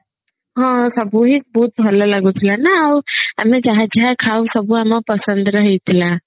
ହଁ ସବୁ ହିଁ ବହୁତ ଭଲ ଲାଗୁଥିଲାନା ଆଉ ଆମେ ଯାହା ଯାହା ଖାଉ ସବୁ ଆମ ପସନ୍ଦର ହେଇଥିଲା